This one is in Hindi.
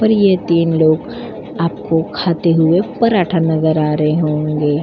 पर ये तीन लोग आपको खाते हुए पराठा नजर आ रहे होंगे।